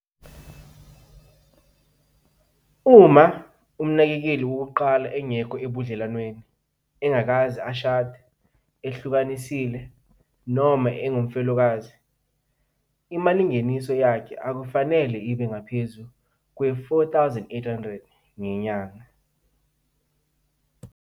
Uma umnakekeli wokuqala engekho ebudlelwaneni, engakaze ashade, ehlukanisile noma engumfelokazi, imalingeniso yakhe akufanele ibe ngaphezu kwezi-R4 800 ngenyanga.